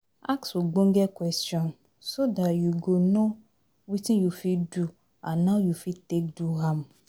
Ask ogbonge question so dat you go know wetin you fit do and how you fit take do am